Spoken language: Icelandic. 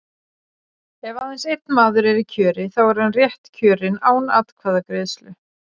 Ef aðeins einn maður er í kjöri, þá er hann rétt kjörinn án atkvæðagreiðslu.